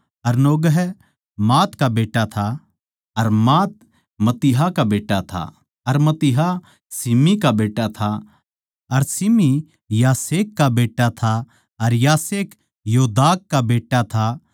अर Naggai Maath का बेट्टा था अर मात मत्तित्याह का बेट्टा था अर मत्तित्याह शिमी का बेट्टा था अर शिमी योसेख का बेट्टा था अर योसेख योदाह का बेट्टा था